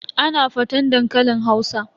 Ana faten dankalin Hausa.